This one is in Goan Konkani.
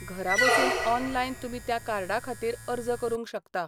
घरा बसून ऑनलायन तुमी त्या कार्डा खातीर अर्ज करूंक शकता.